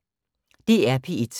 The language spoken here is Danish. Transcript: DR P1